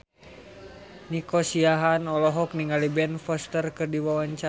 Nico Siahaan olohok ningali Ben Foster keur diwawancara